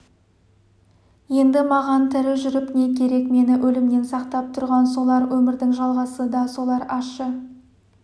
енді маған тірі жүріп не керек мені өлімнен сақтап тұрған солар өмірдің жалғасы да солар ащы